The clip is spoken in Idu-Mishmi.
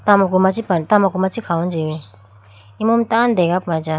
tamako praye tamako machi khawuji imu mai tando dega puma acha.